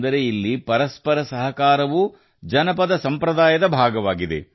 ಅಂದರೆ ಇಲ್ಲಿ ಪರಸ್ಪರ ಸಹಕಾರವೂ ಜನಪದ ಸಂಪ್ರದಾಯದ ಭಾಗವಾಗಿದೆ